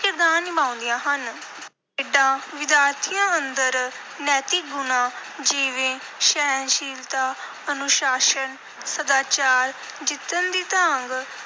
ਕਿਰਦਾਰ ਨਿਭਾਉਂਦੀਆਂ ਹਨ। ਖੇਡਾਂ ਵਿਦਿਆਰਥੀਆਂ ਅੰਦਰ ਨੈਤਿਕ ਗੁਣਾਂ, ਜਿਵੇਂ ਸਹਿਣਸ਼ੀਲਤਾ, ਅਨੁਸ਼ਾਸਨ, ਸਦਾਚਾਰ, ਜਿੱਤਣ ਦੀ ਤਾਂਘ,